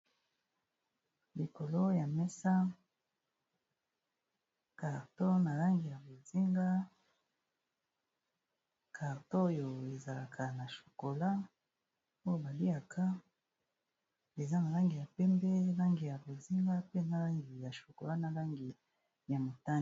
Likolo ya mesa carton na langi ya bozinga. Carton oyo ezalaka na chokolat oyo ba liaka eza na langi ya pembe, langi ya bozinga, pe na langi ya chokolat, na langi ya motane.